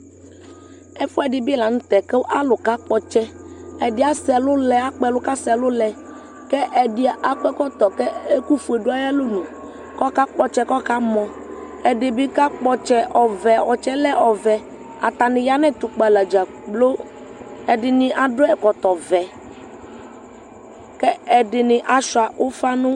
Ɛfʋɛ ɛdibi lanʋtɛ kʋ alʋ kakpɔ ɔtsi ɛdi akpɔ ɛlʋ kʋ asɛ ɛlʋlɛ kʋ ɛdi akɔ ɛkɔtɔ kʋ ɛkʋfue dʋ ayʋ alɔnʋ kʋ akakpɔ ɔtsɛ kʋ ɔkamɔ ɛdibi kakpɔ ɔtsɛ ɔtsɛɛlɛ ɔvɛ atani yanʋ ɛtʋkpa la dzakplo ɛdini adʋ ɛkɔtɔvɛ kʋ ɛdini asuia ufa nʋ ɛmɔ